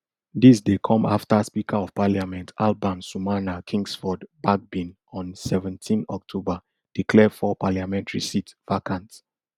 dis dey come afta speaker of parliament alban sumana kingsford bagbin on seventeen october declare four parliamentary seats vacant